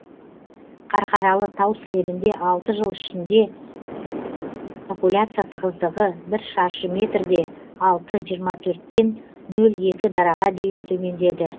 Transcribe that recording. қарқаралы тау сілемінде алты жыл ішінде популяция тығыздығы бір шаршы метрде алты жиырма төрттен нөл екі дараға дейін төмендеді